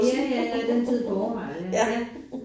Ja ja ja Den Tid på Året ja ja